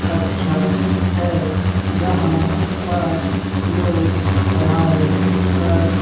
कक्षा है जहां पर लोग पढ़ाई कर--